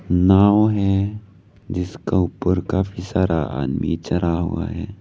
नाव है जिसका ऊपर काफी सारा आदमी चढ़ा हुआ है।